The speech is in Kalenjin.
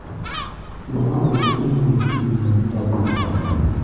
Kimwa kole imuchii imeny sabeengung